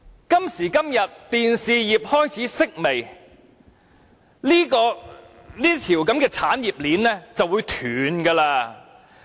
今時今日，電視業開始式微，這條產業鏈也將不保。